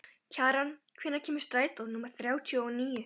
Kjaran, hvenær kemur strætó númer þrjátíu og níu?